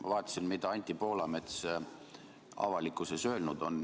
Ma vaatasin, mida Anti Poolamets avalikkuses öelnud on.